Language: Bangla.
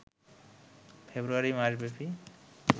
ফেব্রুয়ারি মাসব্যাপী